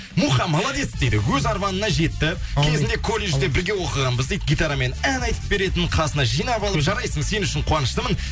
муха молодец дейді өз арманына жетті кезінде колледжде бірге оқығанбыз дейді гитарамен ән айтып беретін қасына жинап алып жарайсың сен үшін қуаныштымын